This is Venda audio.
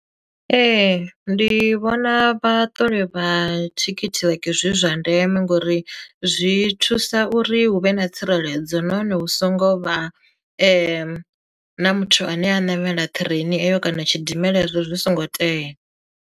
Ee ndi vhona vha ṱole vha thikhithi like zwi zwa ndeme ngori zwi thusa uri hu vhe na tsireledzo nahone hu songo vha na muthu ane a namela ṱireini eyo kana tshidimela ezwo zwi songo tea.